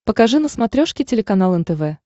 покажи на смотрешке телеканал нтв